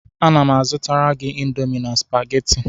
Ana m azụtara gị Indomi na Supagetii